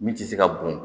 Min tɛ se ka bɔn